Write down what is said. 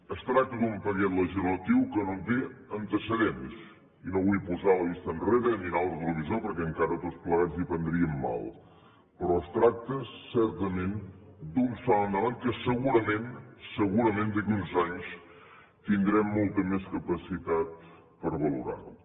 es tracta d’un paquet legislatiu que no té antecedents i no vull posar la vista enrere i mirar el retrovisor perquè encara tots plegats hi prendríem mal però es tracta certament d’un salt endavant que segurament segurament d’aquí a uns anys tindrem molta més capacitat per valorar lo